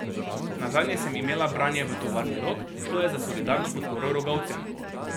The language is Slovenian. Nazadnje sem imela branje v tovarni Rog, šlo je za solidarno podporo rogovcem.